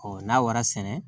Ɔ n'a wara sɛnɛ